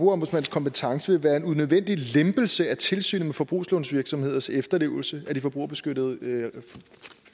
kompetence vil være en unødvendig lempelse af tilsynet med forbrugslånsvirksomheders efterlevelse af de forbrugerbeskyttende